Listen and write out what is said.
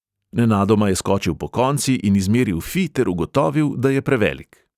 Nenadoma je skočil pokonci in izmeril fi ter ugotovil, da je prevelik.